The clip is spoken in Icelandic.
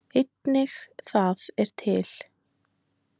Einnig það er til.